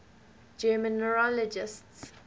german neurologists